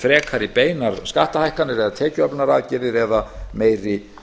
frekari beinar skattahækkanir eða tekjuöflunaraðgerðir eða meiri